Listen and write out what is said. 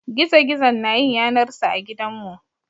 Gizo-gizo na yin yanar sa a gidanmu.